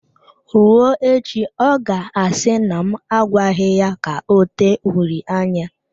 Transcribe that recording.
Rụọ echi, ọ ga-asi na m agwaghi ya ka ọ tee uri anya.